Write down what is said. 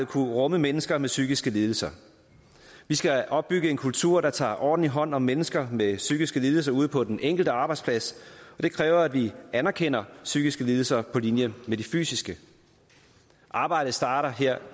kunne rumme mennesker med psykiske lidelser vi skal opbygge en kultur der tager ordentlig hånd om mennesker med psykiske lidelser ude på den enkelte arbejdsplads og det kræver at vi anerkender psykiske lidelser på linje med de fysiske arbejdet starter her